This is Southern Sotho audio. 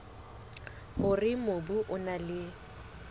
hore mobu o na le